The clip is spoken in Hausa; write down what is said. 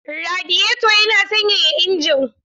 Radiyeto yana sanyaya injin.